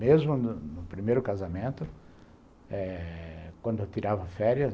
Mesmo no no primeiro casamento, quando eu tirava férias.